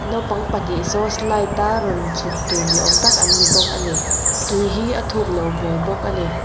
naupang pahnih sauce light a rawn chhuk tur ni awm tak an ni bawk ani tui hi a thuk loh hmel bawk ani.